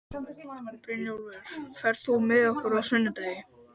Brynjúlfur, ferð þú með okkur á sunnudaginn?